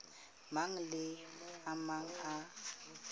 mang le a mang a